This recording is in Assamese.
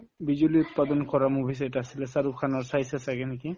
বিজুলী উৎপাদন কৰা movies এটা আছিলে শ্বাহৰুখ খানৰ চাইছা ছাগে নেকি